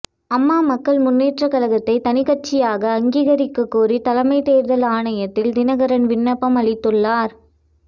அம்மா மக்கள் முன்னேற்ற கழகத்தை தனிக்கட்சியாக அங்கீகரிக்க கோரி தலைமை தேர்தல் ஆணையத்தில் தினகரன் விண்ணப்பம் அளித்துள்ளார்